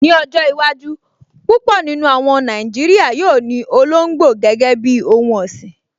Ní ọjọ́ iwájú, púpọ̀ nínú àwọn Nàìjíríyà yóò ní olóngbò gẹ́gẹ́ bíi ohun ọ̀sìn